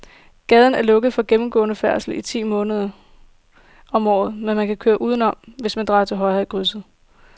Gaden er lukket for gennemgående færdsel ti måneder om året, men man kan køre udenom, hvis man drejer til højre i krydset.